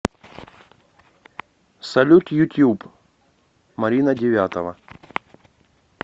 салют ютуб марина девятова